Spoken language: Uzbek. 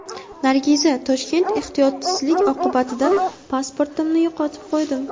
Nargiza, Toshkent Ehtiyotsizlik oqibatida pasportimni yo‘qotib qo‘ydim.